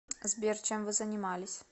сбер чем вы занимались